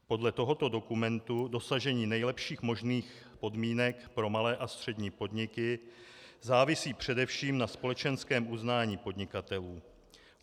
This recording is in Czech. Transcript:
Podle tohoto dokumentu dosažení nejlepších možných podmínek pro malé a střední podniky závisí především na společenském uznání podnikatelů.